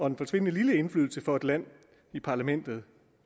en forsvindende lille indflydelse for et land i parlamentet